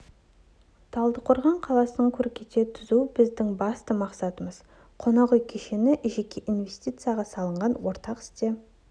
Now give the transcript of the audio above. талдықорған қаласын көркейте түсу біздің басты мақсатымыз қонақ үй кешені жеке инвестицияға салынған ортақ іске